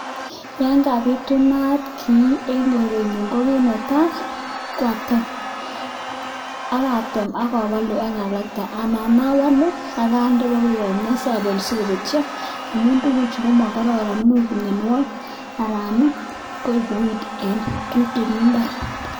Yan kabitunat kiy eng korenyu ko kit netai koa atem akatem ak abalu ak alakte anan abalu ak ande ibokomie si abel si kobetyo. Amun tukuchu ko ma kororon imuch ko miowogik anan koibu weed eng imbar.